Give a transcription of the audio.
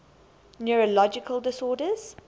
neurological disorders